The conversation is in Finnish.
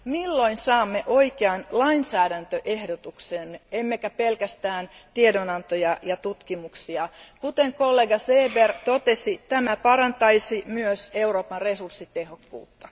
Milloin saamme oikean lainsäädäntöehdotuksen, emmekä pelkästään tiedonantoja ja tutkimuksia? Kuten kollega Seeber totesi, tämä parantaisi myös Euroopan resurssitehokkuutta.